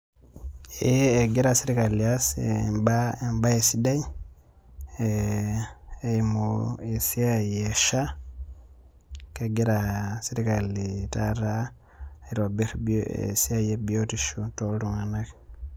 Ee egira sirkali aas ebae sidai, eimu esiai e SHA, kegira serkali taata aitobir esiai ebiotisho toltung'anak.